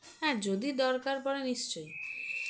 হ্যাঁ যদি দরকার পরে নিশ্চয়ই